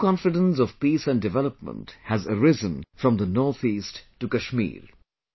A new confidence of peace and development has arisen from the northeast to Kashmir